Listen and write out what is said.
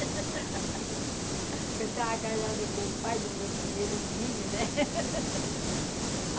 Eu estava casada com o pai do meu primeiro filho, né?